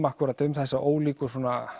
akkúrat um þessa ólíku